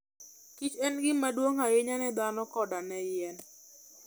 Kich en gima duong' ahinya ne dhano koda ne yien.